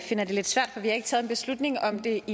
det